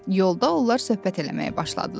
Yolda onlar söhbət eləməyə başladılar.